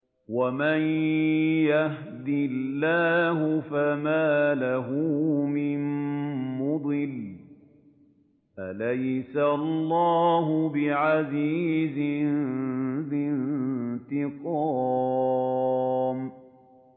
وَمَن يَهْدِ اللَّهُ فَمَا لَهُ مِن مُّضِلٍّ ۗ أَلَيْسَ اللَّهُ بِعَزِيزٍ ذِي انتِقَامٍ